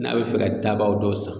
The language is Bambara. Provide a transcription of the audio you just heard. N'a bɛ fɛ ka daba dɔw san